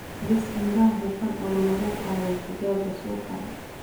Dhis nidaam hufan oo loogu qaado digaagga suuqa.